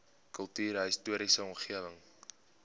kultuurhis toriese omgewing